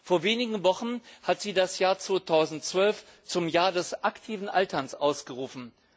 Vor wenigen Wochen hat sie das Jahr 2012 zum Europäischen Jahr des aktiven Alterns ausgerufen.